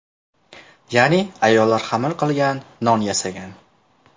Ya’ni ayollar xamir qilgan, non yasagan.